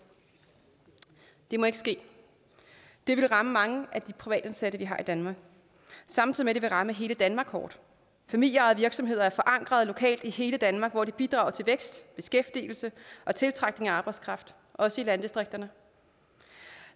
det må ikke ske det ville ramme mange af de privatansatte vi har i danmark samtidig ville ramme hele danmark hårdt familieejede virksomheder er forankrede lokalt i hele danmark hvor de bidrager til vækst beskæftigelse og tiltrækning af arbejdskraft også i landdistrikterne